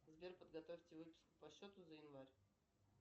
сбер подготовьте выписку по счету за январь